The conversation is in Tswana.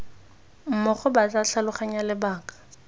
mmogo ba tla tlhaloganya lebaka